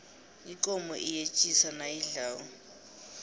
ikomo iyetjisa nayidlako